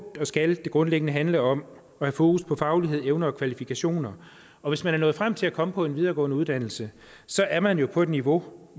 og skal det grundlæggende handle om at have fokus på faglighed evner og kvalifikationer og hvis man er nået frem til at komme på en videregående uddannelse så er man jo på et niveau